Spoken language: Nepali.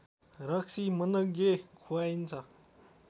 रक्सी मनग्गे खुवाइन्छ